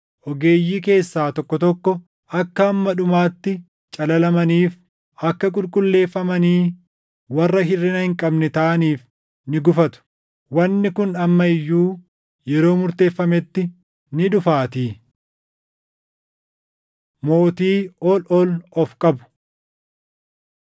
Ogeeyyii keessaa tokko tokko akka hamma dhumaatti calalamaniif, akka qulqulleeffamanii warra hirʼina hin qabne taʼaniif ni gufatu; wanni kun amma iyyuu yeroo murteeffametti ni dhufaatii. Mootii Ol Ol Of Qabu